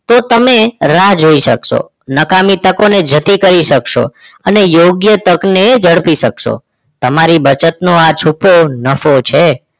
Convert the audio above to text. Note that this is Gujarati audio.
તો તમે રાહ જોઈ શકશો નકામી તકોને જતી કરી શકશો અને યોગ્ય તકને ઝડપી શકશો. તમારી બચતનો આ છૂટો નફો છે